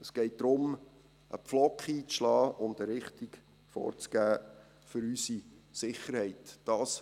Es geht darum, einen Pflock einzuschlagen und eine Richtung für unsere Sicherheit vorzugeben.